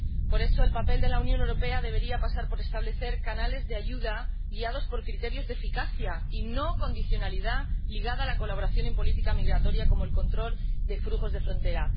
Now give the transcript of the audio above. Por eso, el papel de la Unión Europea debería pasar por establecer canales de ayuda guiados por criterios de eficacia y no una condicionalidad ligada a la colaboración en política migratoria, como el control de flujos de frontera.